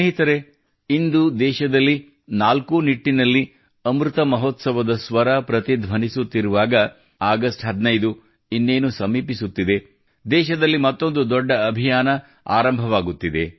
ಸ್ನೇಹಿತರೇ ಇಂದು ದೇಶದಲ್ಲಿ ನಾಲ್ಕೂ ನಿಟ್ಟಿನಲ್ಲಿ ಅಮೃತ ಮಹೋತ್ಸವದ ಸ್ವರ ಪ್ರತಿಧ್ವನಿಸುತ್ತಿರುವಾಗ ಆಗಸ್ಟ್ 15 ಇನ್ನೇನು ಸಮೀಪಿಸುತ್ತಿದೆ ದೇಶದಲ್ಲಿ ಮತ್ತೊಂದು ದೊಡ್ಡ ಅಭಿಯಾನ ಆರಂಭವಾಗುತ್ತಿದೆ